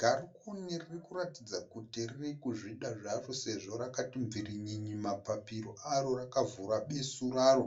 Garukini ririkuratidza kuti ririkuzvida zvaro sezvo rakati mvirinyinyi mapapiro aro rakavhura besu raro.